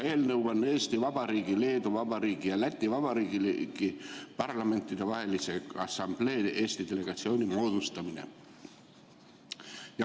Eelnõu on Eesti Vabariigi, Leedu Vabariigi ja Läti Vabariigi Parlamentidevahelise Assamblee Eesti delegatsiooni moodustamine.